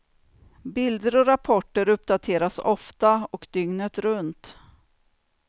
Bilder och rapporter uppdateras ofta och dygnet runt.